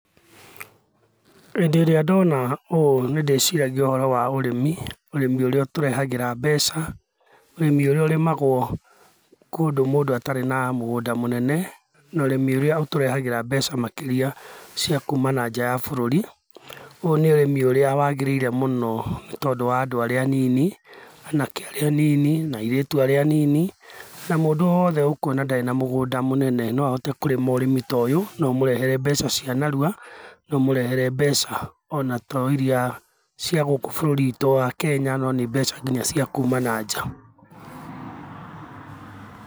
Hĩndĩ ĩrĩa ndona ũũ nĩ ndĩciragia ũhoro wa ũrĩmi, ũrĩmi ũrĩa ũtũrehagĩra mbeca, ũrĩmi ũrĩa ũrĩmagwo kũndũ mũndũ atarĩ na mũgũnda mũnene, na ũrĩmi ũrĩa ũtũrehagĩra mbeca makĩria cia kuma na nja ya bũrũri, ũyũ nĩ ũrĩmi ũrĩa wagĩrĩire mũno nĩ tondũ wa andũ arĩa anini, anake arĩa anini, na airĩtu arĩa anini, na mũndũ wothe ukuona ndarĩ na mũgũnda mũnene no ahote kũrĩma ũrĩmi ta ũyũ, na ũmũrehere mbeca cia narua na ũmũrehere mbeca ona to iria cia gũkũ bũrũri witũ wa Kenya no nĩ mbeca nginya cia kuma na nja.